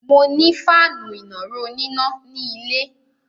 Mo ní fáànù ìnàró oníná ní ilé.